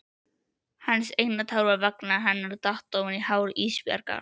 Hans eina tár vegna hennar datt ofan á hár Ísbjargar.